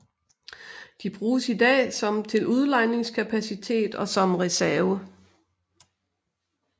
De bruges i dag som til udlejningskapacitet og som reserve